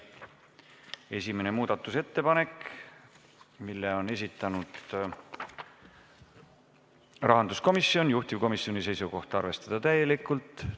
Esimene muudatusettepanek, mille on esitanud rahanduskomisjon, juhtivkomisjoni seisukoht: arvestada täielikult.